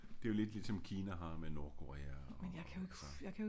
Det er jo lidt ligesom Kina har med Nordkorea og altså